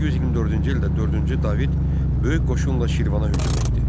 1124-cü ildə dördüncü David böyük qoşunla Şirvana hücum etdi.